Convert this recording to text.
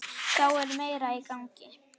Þá er meira í gangi.